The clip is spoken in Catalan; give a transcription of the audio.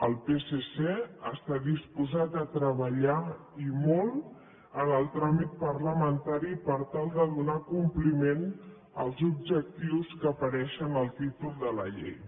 el psc està disposat a treballar i molt en el tràmit parlamentari per tal de donar compliment als objectius que apareixen en el títol de la llei